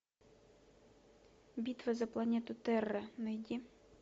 битва за планету терра найди